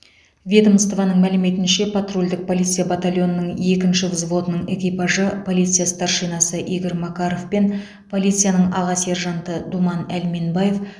ведомствоның мәліметінше патрульдік полиция батальонының екінші взводының экипажы полиция старшинасы игорь макаров пен полицияның аға сержанты думан әлменбаев